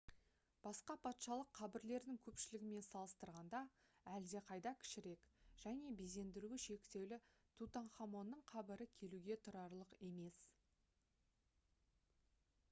басқа патшалық қабірлердің көпшілігімен салыстырғанда әлдеқайда кішірек және безендіруі шектеулі тутанхамонның қабірі келуге тұрарлық емес